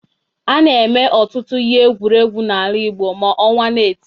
A na-eme ọtụtụ ihe egwuregwu n'ala Igbo ma ọnwa na-eti.